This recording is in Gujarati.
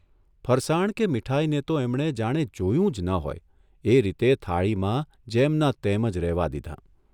ફરસાણ કે મીઠાઇને તો એમણે જાણે જોયું જ ન હોય એ રીતે થાળીમાં જેમનાં તેમ જ રહેવા દીધાં !